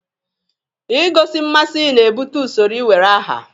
Igosi mmasị na-ebute usoro iwere aha.